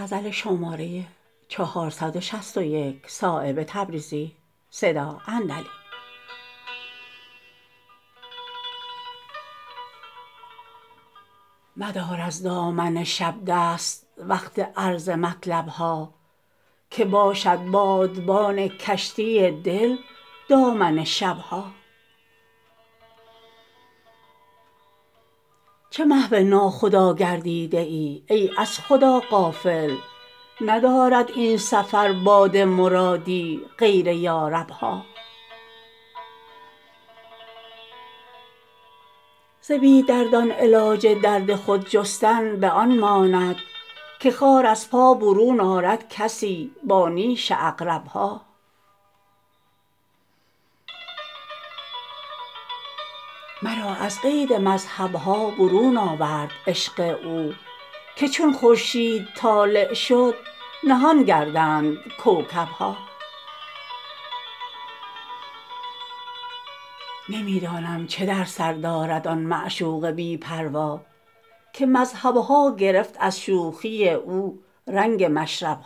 مدار از دامن شب دست وقت عرض مطلب ها که باشد بادبان کشتی دل دامن شب ها چه محو ناخدا گردیده ای ای از خدا غافل ندارد این سفر باد مرادی غیر یارب ها ز بی دردان علاج درد خود جستن به آن ماند که خار از پا برون آرد کسی با نیش عقرب ها مرا از قید مذهب ها برون آورد عشق او که چون خورشید طالع شد نهان گردند کوکب ها نمی دانم چه در سر دارد آن معشوق بی پروا که مذهب ها گرفت از شوخی او رنگ مشرب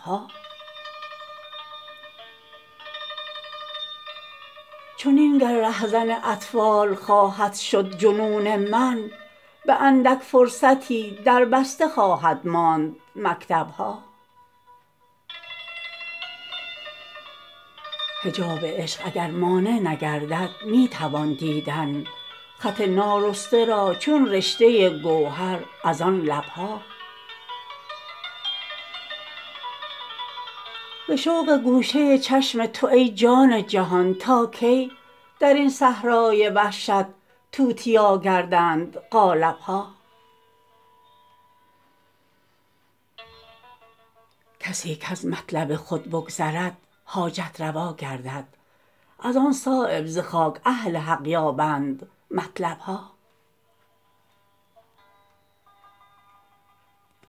ها چنین گر رهزن اطفال خواهد شد جنون من به اندک فرصتی دربسته خواهد ماند مکتب ها حجاب عشق اگر مانع نگردد می توان دیدن خط نارسته را چون رشته گوهر ازان لب ها ز شوق گوشه چشم تو ای جان جهان تا کی درین صحرای وحشت توتیا گردند قالب ها کسی کز مطلب خود بگذرد حاجت روا گردد ازان صایب ز خاک اهل حق یابند مطلب ها